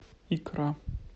икра